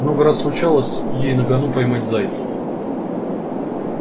много раз случалось ей на гону поймать зайца